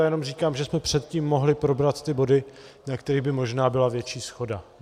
Já jenom říkám, že jsme předtím mohli probrat ty body, na kterých by možná byla větší shoda.